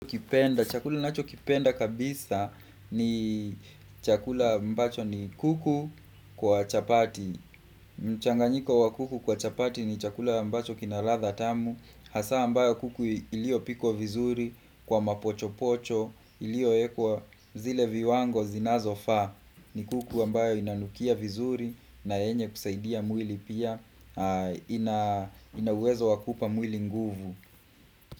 Kipenda, chakula ninachokipenda kabisa ni chakula ambacho ni kuku kwa chapati mchanganyiko wa kuku kwa chapati ni chakula ambacho kina ladha tamu, hasa ambayo kuku iliyopikwa vizuri kwa mapochopocho, Iliyowekwa zile viwango zinazofaa ni kuku ambayo inanukia vizuri na yenye kusaidia mwili pia ina uwezo wa kuipa mwili nguvu.